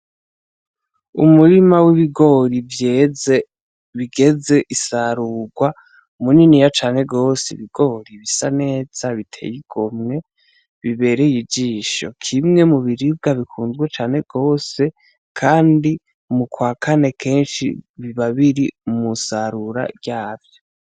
Umurima w'ibigori vyeze bigeze isarurwa, muniniya cane gose, ibigori bisa neza biteye igomwe bibereye ijisho. Kimwe mu biribwa bikunzwe cane gose kandi mu kwa kane kenshi biba biri mu nsarura ryavyo.